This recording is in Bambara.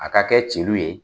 A ka kɛ jeliw ye